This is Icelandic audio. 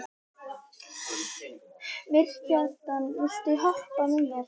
Mýrkjartan, viltu hoppa með mér?